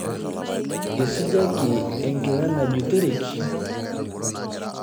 Eisujaki enkila najutoreki.